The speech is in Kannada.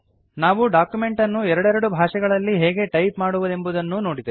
ನಾವು ಡಾಕ್ಯುಮೆಂಟ್ ಅನ್ನು ಎರೆಡೆರಡು ಭಾಷೆಗಳಲ್ಲಿ ಹೇಗೆ ಟೈಪ್ ಮಾಡುವುದೆಂಬುದನ್ನೂ ನೋಡಿದೆವು